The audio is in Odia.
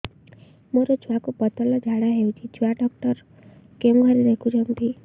ମୋର ଛୁଆକୁ ପତଳା ଝାଡ଼ା ହେଉଛି ଛୁଆ ଡକ୍ଟର କେଉଁ ଘରେ ଦେଖୁଛନ୍ତି